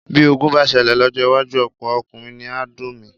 Bí ogun bá ṣẹlẹ̀ lọ́jọ́ iwájú, ọ̀pọ̀ ọkùnrin ni á domi.